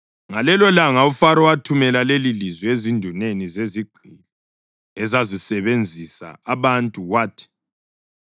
Ngalelolanga uFaro wathumela lelilizwi ezinduneni zezigqili ezazisebenzisa abantu wathi: